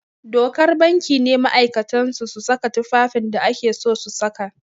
Dokar banki ne ma'aikatan su su saka tufafin da ake so su saka